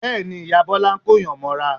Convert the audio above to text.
Bẹ́ẹ̀ ni, ìyá Bọ́lá ń kóyàn mọ́ra